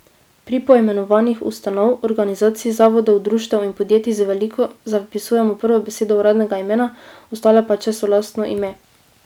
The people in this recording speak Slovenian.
Pri poimenovanjih ustanov, organizacij, zavodov, društev in podjetij z veliko zapisujemo prvo besedo uradnega imena, ostale pa, če so lastno ime.